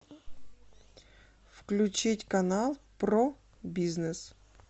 включить канал про бизнес